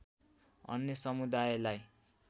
अन्य समुदायलाई